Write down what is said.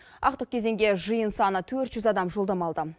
ақтық кезеңге жиын саны төрт жүз адам жолдама алды